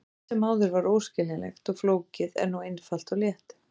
Allt sem áður var óskiljanlegt og flókið er nú einfalt og létt.